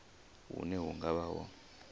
hune hu nga vha ho